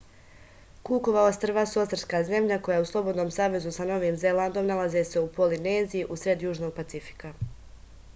kukova ostrva su ostrvska zemlja koja je u slobodnom savezu sa novim zelandom nalaze se u polineziji u sred južnog pacifika